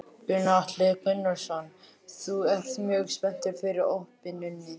Gunnar Atli Gunnarsson: Þú ert mjög spenntur fyrir opnuninni?